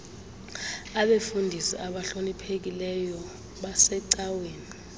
abefundisi abahloniphekileyo basecaweni